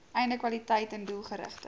einde kwaliteiten doelgerigte